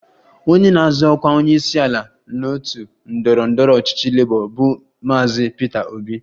Onye na-azọ ọkwa onyeisiala n'otu ndọrọ ndọrọ ọchịchị Labour bụ Maazị Peter Obi